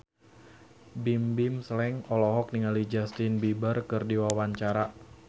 Bimbim Slank olohok ningali Justin Beiber keur diwawancara